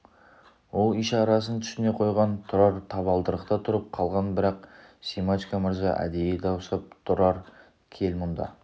ол ишарасын түсіне қойған тұрар табалдырықта тұрып қалған бірақ семашко мырза әдейі дауыстап тұрар кел мұнда